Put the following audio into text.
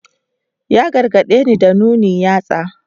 Ya gargadeni da nuna yatsa.